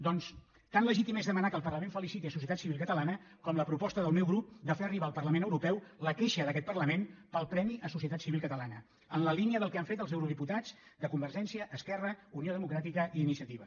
doncs tan legítim és demanar que el parlament feliciti societat civil catalana com la proposta del meu grup de fer arribar al parlament europeu la queixa d’aquest parlament pel premi a societat civil catalana en la línia del que han fet els eurodiputats de convergència esquerra unió democràtica i iniciativa